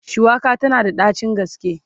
shuwaka tana da ɗacin gaske